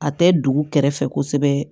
A tɛ dugu kɛrɛfɛ kosɛbɛ